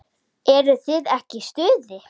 Eruð þið ekki í stuði?